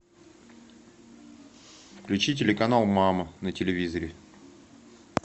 включи телеканал мама на телевизоре